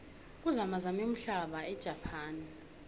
kuzamazame umhlaba ejapane